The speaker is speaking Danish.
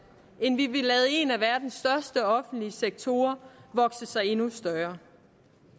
end vi vil lade en af verdens største offentlige sektorer vokse sig endnu større